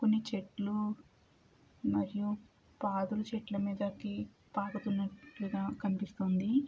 కొన్ని చెట్లు మరియు పాదుల చెట్లు మీదకి పాకుతున్నట్లుగా కనిపిస్తుంది.